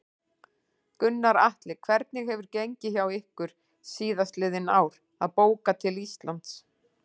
Gunnar Atli: Hvernig hefur gengið hjá ykkur síðastliðin ár að bóka til Íslands?